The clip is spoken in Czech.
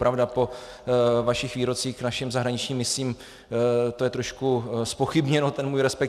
Pravda, po vašich výrocích k našim zahraničním misím to je trošku zpochybněno, ten můj respekt.